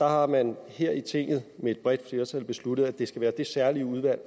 har man her i tinget med et bredt flertal besluttet at det skal være det særlige udvalg